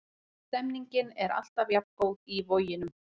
Stemningin er alltaf jafn góð í Voginum.